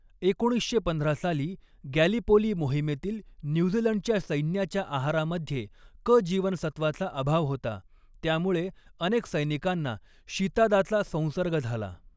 एकोणीसशे पंधरा साली गॅलिपोली मोहिमेतील न्यूझीलंडच्या सैन्याच्या आहारामध्ये क जीवनसत्वाचा अभाव होता, त्यामुळे अनेक सैनिकांना शीतादाचा संसर्ग झाला.